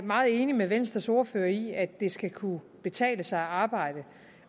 meget enig med venstres ordfører i at det skal kunne betale sig at arbejde